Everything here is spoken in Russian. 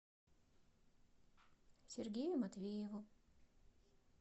сергею матвееву